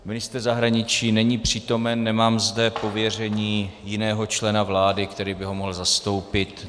Ministr zahraničí není přítomen, nemám zde pověření jiného člena vlády, který by ho mohl zastoupit.